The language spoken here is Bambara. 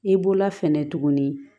I bolola fɛnɛ tuguni